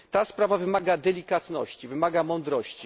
Ta sprawa wymaga delikatności i mądrości.